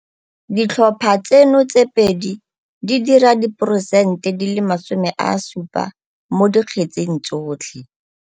Ditlhopha tseno tse pedi di dira diporosente di le 70 mo dikgetseng tsotlhe.